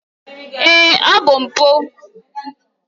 Èé! ọ bụ mpụ